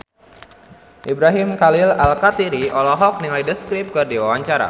Ibrahim Khalil Alkatiri olohok ningali The Script keur diwawancara